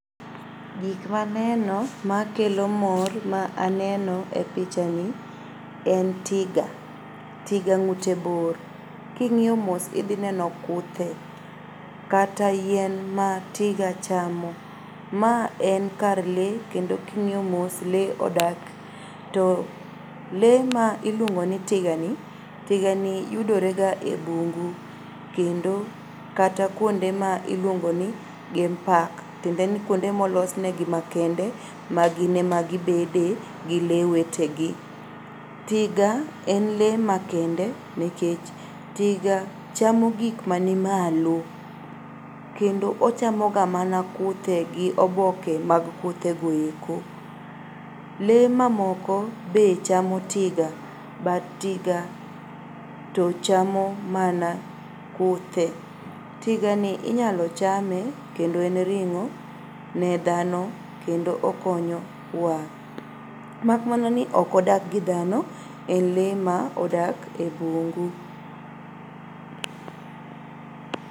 Gikmaneno makelo mor ma aneno e picha ni en tiga. Tiga ng'ute bor. King'iyo mos idhineno kuthe kata yien ma tiga chamo. Ma en kar lee kendo king'iyo mos lee odak to lee ma iluongoni tigani, tigani yudorega e bungu kendo kata kuonde mailuongoni game park tiendeni kuonde molosnegi makende ma gine magibede gi lee wetegi. Tiga en lee makende nekech tiga chamo gik mani malo kendo ochamoga mana kuthe gi oboke mag kuthegoeko. Lee mamoko be chamo tiga but tiga tochamo mana kuthe. Tigani inyalochame kendo en ring'o ne dhano kendo okonyo wa makmanani okodak gi dhano, en lee ma odak e bungu.